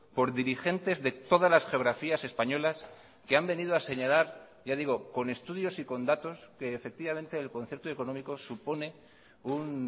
por dirigentes de todas las geografías españolas que han venido a señalar ya digo con estudios y con datos que efectivamente el concierto económico supone un